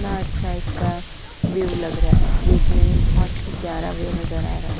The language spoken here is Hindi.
कितना अच्छा इसका व्यू लग रहा है। देखने में बहुत ही प्यार व्यू नजर आ रहा है।